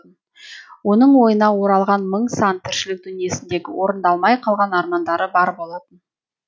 оның ойына оралған мың сан тіршілік дүниесіндегі орындалмай қалған армандары бар болатын